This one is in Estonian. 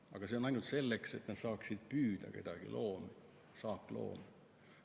Aga see on ainult selleks, et nad saaksid püüda saakloomi.